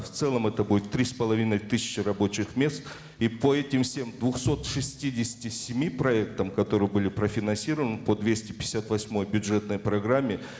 в целом это будет три с половиной тысячи рабочих мест и по этим всем двухсот шестидесяти семи проектам которые были профинансированы по двести пятьдесят восьмой бюджетной программе